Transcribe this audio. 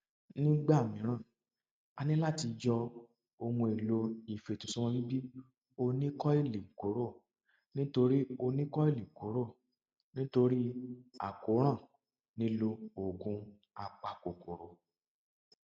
nígbà mìíràn a ní láti yọ ohunèlò ìfètòsọmọbíbí oníkọìlì kúrò nítorí oníkọìlì kúrò nítorí àkóràn nílò oògùn apakòkòrò